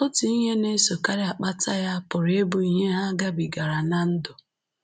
Otu ihe na-esokarị akpata ya pụrụ ịbụ ihe ha gabigara ná ndụ